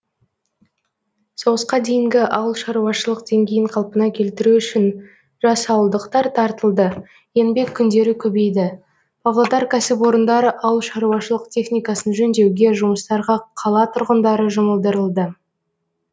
соғысқа дейінгі ауылшаруашылық деңгейін қалпына келтіру үшін жас ауылдықтар тартылды еңбек күндері көбейді павлодар кәсіпорындары ауылшаруашылық техникасын жөндеуге жұмыстарға қала тұрғындары жұмылдырылды